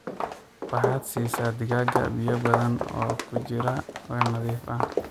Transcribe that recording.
Waxaad siisa digaaga biyoo badan oo ku jira weel nadiif ah.